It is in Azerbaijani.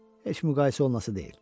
Heç müqayisə olunası deyil.